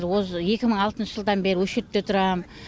осы екі мың алтыншы жылдан бері өшіртте тұрам